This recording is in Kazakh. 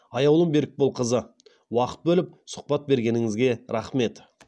аяулым берікболқызы уақыт бөліп сұхбат бергеніңізге рахмет